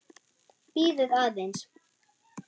Bíðið aðeins.